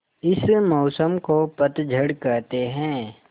इस मौसम को पतझड़ कहते हैं